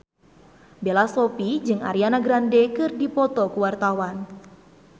Bella Shofie jeung Ariana Grande keur dipoto ku wartawan